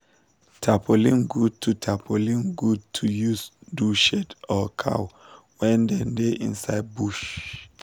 tarpolin good to tarpolin good to use do shade or cow when dem da inside bush